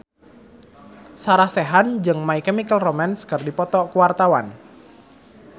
Sarah Sechan jeung My Chemical Romance keur dipoto ku wartawan